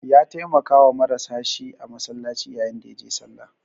Ya taimakawa marasa shi a masallaci yayin da ya je sallah.